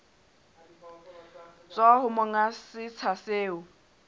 tswa ho monga setsha seo